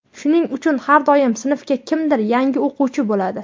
shuning uchun har doim sinfga kimdir yangi o‘quvchi bo‘ladi.